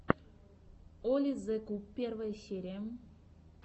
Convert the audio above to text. оли зе куб первая серия